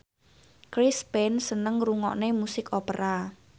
Chris Pane seneng ngrungokne musik opera